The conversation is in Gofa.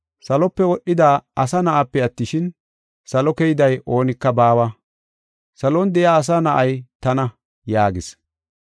Salope wodhida Asa Na7aape attishin, salo keyday oonika baawa; [salon de7iya Asa Na7ay tana”] yaagis.